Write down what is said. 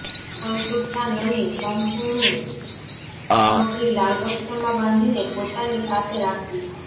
અનષુ્ઠા નની સંપર્ણૂ સામગ્રી લાલ વસ્ત્રમાં બાંધીને પોતાની પાસે રાખવી